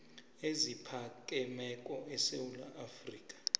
eziphakemeko esewula afrika